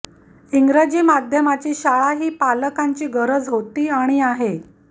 इंग्रजी माध्यमाची शाळा ही पालकांची गरज होती आणि आहे